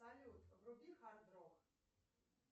салют вруби хардрок